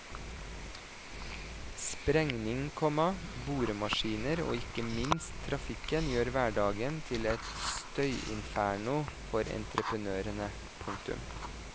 Sprengning, komma boremaskiner og ikke minst trafikken gjør hverdagen til et støyinferno for entreprenørene. punktum